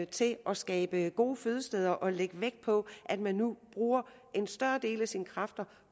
til at skabe gode fødesteder og lægge vægt på at man nu bruger en større del af sine kræfter